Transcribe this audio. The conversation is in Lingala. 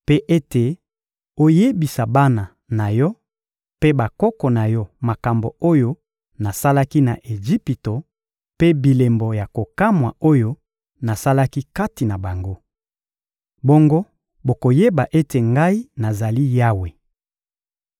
mpe ete oyebisa bana na yo mpe bakoko na yo makambo oyo nasalaki na Ejipito mpe bilembo ya kokamwa oyo nasalaki kati na bango. Bongo bokoyeba ete Ngai nazali Yawe.»